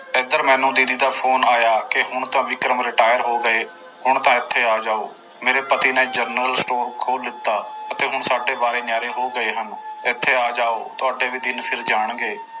ਇੱਧਰ ਮੈਨੂੰ ਦੀਦੀ ਦਾ ਫ਼ੋਨ ਆਇਆ ਕਿ ਹੁਣ ਤਾਂ ਵਿਕਰਮ retire ਹੋ ਗਏ, ਹੁਣ ਤਾਂ ਇੱਥੇ ਆ ਜਾਓ ਮੇਰੇ ਪਤੀ ਨੇ ਜਨਰਲ ਸਟੋਰ ਖੋਲ ਲਿੱਤਾ ਤੇ ਹੁਣ ਸਾਡੇ ਵਾਰੇ ਨਿਆਰੇ ਹੋ ਗਏ ਹਨ ਇੱਥੇ ਆ ਜਾਓ ਤੁਹਾਡੇ ਵੀ ਦਿਨ ਫਿਰ ਜਾਣਗੇ।